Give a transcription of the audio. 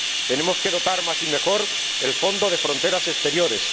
Tenemos que dotar más y mejor el fondo de fronteras exteriores